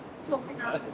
Çox inanırdılar.